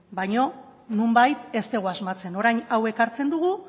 baina nonbait ez dugu asmatzen orain hau ekartzen dugu